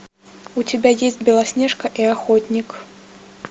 у тебя есть белоснежка и охотник